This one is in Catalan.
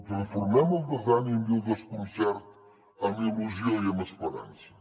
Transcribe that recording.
transformem el desànim i el desconcert en il·lusió i en esperança